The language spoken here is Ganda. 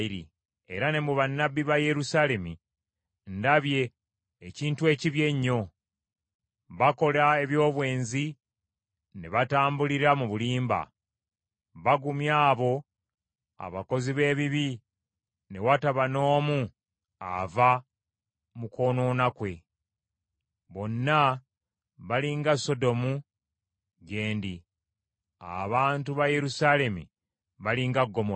Era ne mu bannabbi ba Yerusaalemi ndabye ekintu ekibi ennyo. Bakola eby’obwenzi ne batambulira mu bulimba. Bagumya abo abakozi b’ebibi ne wataba n’omu ava mu kwonoona kwe. Bonna bali nga Sodomu gye ndi; abantu ba Yerusaalemi bali nga Ggomola.”